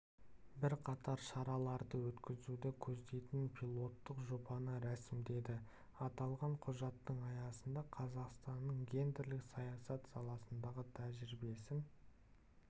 бірқатар шараларды өткізуді көздейтін пилоттық жобаны рәсімдеді аталған құжаттың аясында қазақстанның гендерлік саясат саласындағы тәжірибесін